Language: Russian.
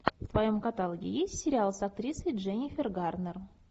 в твоем каталоге есть сериал с актрисой дженнифер гарнер